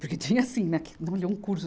Porque tinha, assim, um curso.